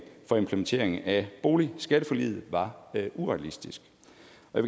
for implementeringen af boligskatteforliget var urealistisk